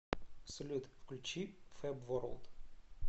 салют включи фэб ворлд